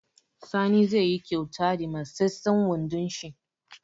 Sani zai yi kauta da matseten wondon shi